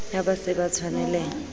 ha ba se ba tshwanelaha